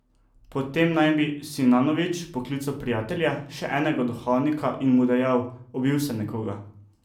Po tem naj bi Sinanović poklical prijatelja, še enega duhovnika, in mu dejal: "Ubil sem nekoga.